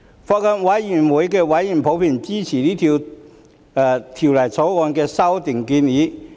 法案委員會委員普遍支持《條例草案》的修訂建議。